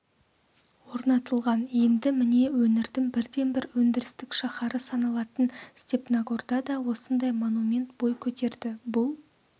орнатылған енді міне өңірдің бірден-бір өндірістік шаһары саналатын степногорда да осындай монумент бой көтерді бұл